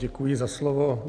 Děkuji za slovo.